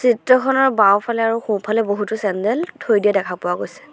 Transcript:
Photo খনৰ বাওঁফালে আৰু সোঁফালে বহুতো চেণ্ডেল থৈ দিয়া দেখা পোৱা গৈছে।